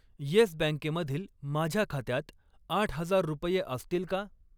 Yes बँके मधील माझ्या खात्यात आठ हजार रुपये असतील का?